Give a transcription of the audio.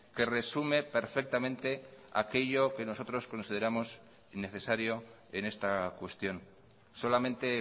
que resume perfectamente aquello que nosotros consideramos necesario en esta cuestión solamente